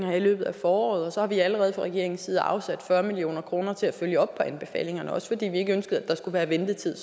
her i løbet af foråret og så har vi allerede fra regeringens side afsat fyrre million kroner til at følge op på anbefalingerne også fordi vi ikke ønskede at der skal være ventetid i